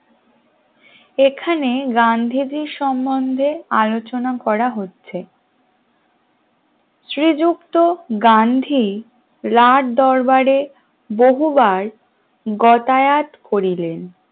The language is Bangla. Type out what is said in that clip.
এখানে গান্ধীজীর সম্বন্ধে আলোচনা করা হচ্ছে শ্রীযুক্ত গান্ধী লাল দরবারে বহুবার গতায়াত করিলেন